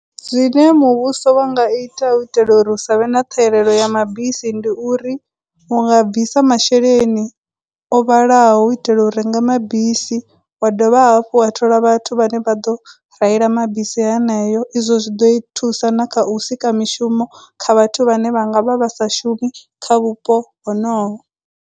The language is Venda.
Zwine muvhuso wa nga ita u itela uri hu sa vhe na ṱhahelelo ya mabisi ndi uri, unga bvisa masheleni o vhalaho u itela u renga mabisi, wa dovha hafhu wa thola vhathu vhane vha ḓo reila mabisi haneyo. Izwo zwi ḓo i thusa na kha u sika mishumo kha vhathu vhane vhanga vha vha sa shumi kha vhupo honoho.